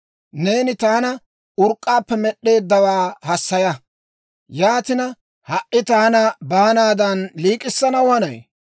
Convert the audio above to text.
Neeni taana urk'k'aappe med'd'eeddawaa hassaya. Yaatina, ha"i taana baanaadan liik'issanaw hanay?